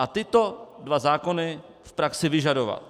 A tyto dva zákony v praxi vyžadovat.